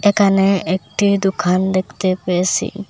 এখানে একটি দোকান দেখতে পেয়েসি।